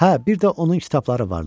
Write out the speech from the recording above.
Hə, bir də onun kitabları vardı.